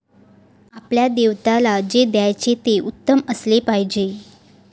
आपल्या दैवताला जे द्यायचे ते उत्तम असले पाहिजे